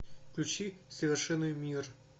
включи совершенный мир